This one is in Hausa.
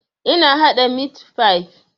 Ina haɗa mit fif